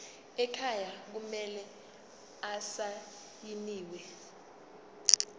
ekhaya kumele asayiniwe